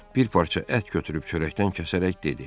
Bir parça ət götürüb çörəkdən kəsərək dedi: